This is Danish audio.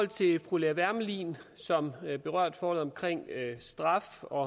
til fru lea wermelin som berørte forholdet omkring straf og